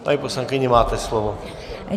Paní poslankyně, máte slovo.